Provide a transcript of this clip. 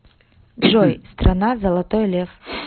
джой страна золотой лев